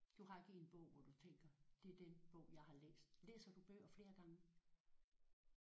Du har ikke én bog hvor du tænker det er den bog jeg har læst læser du bøger flere gange?